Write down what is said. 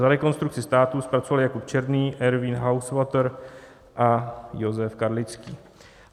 Za Rekonstrukci státu zpracoval Jakub Černý, Ervín Hausvater a Josef Karlický.